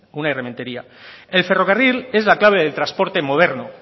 unai rementeria el ferrocarril es la clave del transporte moderno